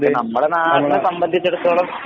നമ്മുടെ നാടിനെ സംബന്ധിച്ചടുത്തോളം